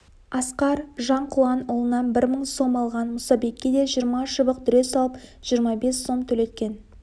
асқар жанқұланұлынан бір мың сом алған мұсабекке де жиырма шыбық дүре салып жиырма бес сом төлеткен